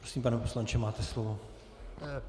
Prosím, pane poslanče, máte slovo.